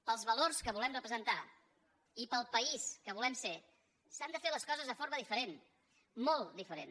pels valors que volem representar i pel país que volem ser s’han de fer les coses de forma diferent molt diferent